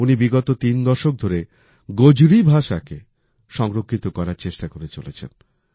উনি বিগত ৩ দশক ধরে গোজরি ভাষাকে সংরক্ষিত করবার চেষ্টা করে চলেছেন